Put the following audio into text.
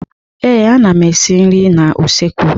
Ee, ana m esi nri n'usekwu.